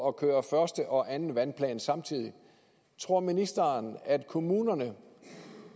at køre første og anden vandplan samtidig men tror ministeren at kommunerne